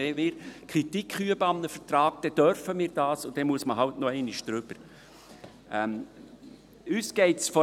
Wenn wir Kritik an einem Vertrag üben, dürfen wir das, und dann muss man eben noch einmal drüber.